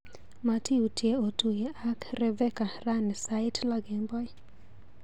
Matiutye otuye ak Reveca rani sait loo kemboi.